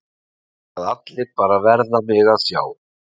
Að allir bara verða mig að sjá.